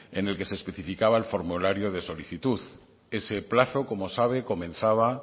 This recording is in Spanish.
en el que se especificaba el formulario de solicitud ese plazo como sabe comenzaba